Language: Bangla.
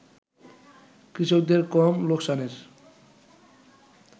কৃষকদের কম লোকসানের